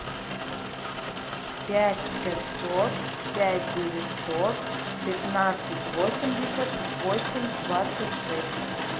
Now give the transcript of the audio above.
пять пятьсот пять девятьсот пятнадцать восемьдесят восемь двадцать шесть